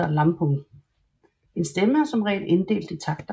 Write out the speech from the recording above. En stemme er som regel inddelt i takter